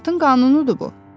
Həyatın qanunudur bu.